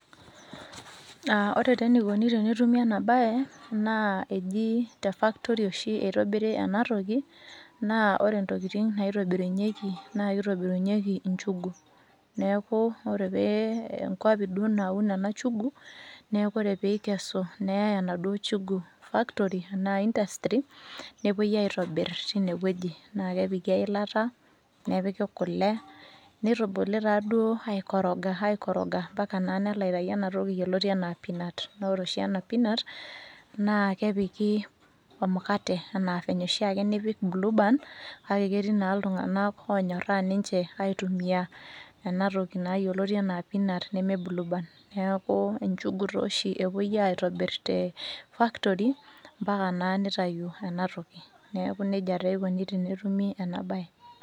Ore taa enikoni tenitumi ena bae naa eji te factory oshi itobiri ena toki, naa ore ntokin naitobirunyeki naa kitobirunyeki njugu. Neeku ore pee inkuapi duo naun ena njugu neeku ore pikesu neya enaduo njugu factory enaa industry nepoi aitobir tineweji naa kepiki eilata nepiki kule nitubuli taaduo aikoroga, aikoroga mpakaa jaa nelo abaki ena toki yioloti enaa peanut. Naa iyiolo oshi ena peanut naa kepiki emukate naa vile oshi ale nipik blueband kake ketii naa iltung'anak onyor ninche aitumia enaa tokii yioloti enaa peanut neme blueband. Neeku enjugu too oshi epuoi aitobirr te factory mpaka naa nitayu ena toki. Neeku neija taa ikoni tenitumi ena bae. At